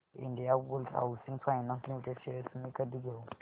Indiabulls housing finance limited shares मी कधी घेऊ